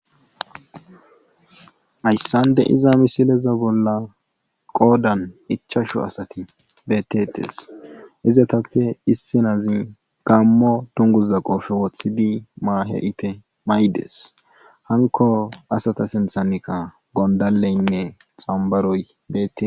Hayssande iza misileza bolla qoodan ichashu asati beettetes izatappe issinazi gammo tunguza qofe woththidi maahe ite maydes hanko asata sinthanika gondaleynne xambaroy deette.